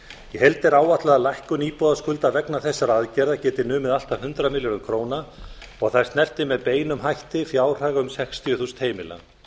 heild er áætlað að lækkun íbúðaskulda vegna þessara aðgerða geti numið allt að hundrað milljörðum króna og þær snerti með beinum hætti fjárhag um sextíu þúsund heimila